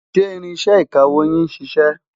ṣé ìrínsẹ̀ ìkàwó yín ṣiṣẹ?